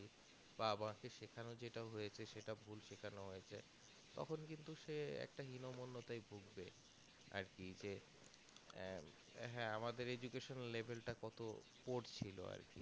বা বোরোতে যেটা সেখান হয়েছে সেটা ভুল সেখান হয়েছে তখন কিন্তু সে একটা হিনমন্নতায় ভুগবে আরকি যে হ্যাঁ আমাদের education level টা কত পড়ছিলো আরকি